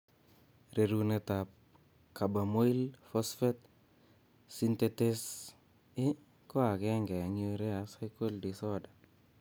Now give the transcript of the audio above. Rerunetab carbamoyl phosphate synthetase i ko agenge eng' urea cycle disorder